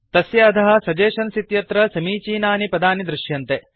तस्य अधः सगेस्शन्स इत्यत्र समीचीनानि पदानि दृश्यन्ते